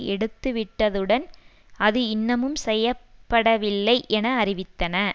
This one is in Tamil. எடுத்துவிட்டதுடன் அது இன்னமும் செய்ய படவில்லை என அறிவித்தன